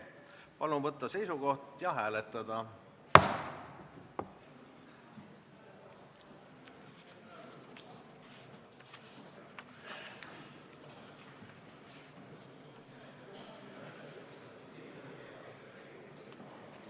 Palun võtta seisukoht ja hääletada!